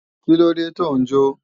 Kílóde tò ń jó?